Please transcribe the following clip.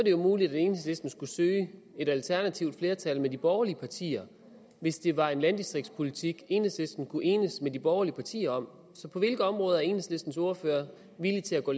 jo muligt at enhedslisten skulle søge et alternativt flertal med de borgerlige partier hvis det var en landdistriktspolitik enhedslisten kunne enes med de borgerlige partier om på hvilke områder er enhedslistens ordfører villig til at gå